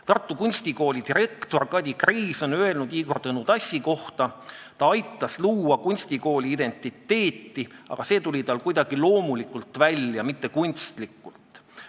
Tartu Kunstikooli direktor Kadi Kreis on Igor Tõnu Tassi kohta öelnud: "Ta aitas luua kunstikooli identiteeti, aga see kõik tuli loomulikult, mitte kunstlikult.